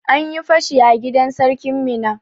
An yi fashi a gidan sarkin Minna.